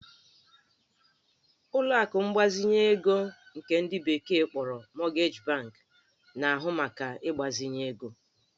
Ụlọ akụ mgbazinye ego nke ndị bekee kpọrọ Mortgage bank na-ahụ maka ịgbazinye ego